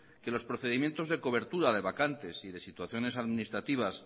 que los procedimientos de cobertura de vacantes y de situaciones administrativas